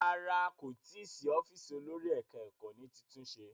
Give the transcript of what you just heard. Rárá, kò tí ì sí ọ́fíísì olórí ẹ̀ka-ẹkọ́ ní títúnṣe.